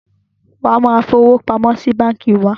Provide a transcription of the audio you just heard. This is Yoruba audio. Wa máa fi owó pamọ́ sí báńkì wá!